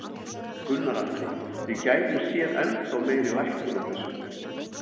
Gunnar Atli: Við gætum séð ennþá meiri lækkun á þessu?